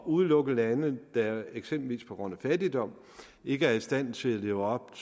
udelukke lande der eksempelvis på grund af fattigdom ikke er i stand til at leve op